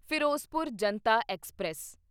Firozpur Janta express